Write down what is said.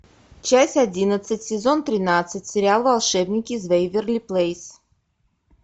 часть одиннадцать сезон тринадцать сериал волшебники из вэйверли плэйс